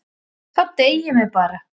Þá deyjum við bara.